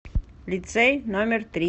лицей номер три